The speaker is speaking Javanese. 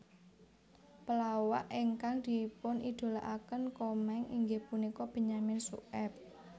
Pelawak ingkang dipunidolakaken Komeng inggih punika Benyamin Sueb